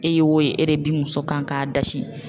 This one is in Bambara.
E ye o ye e de bi muso kan k'a dasi.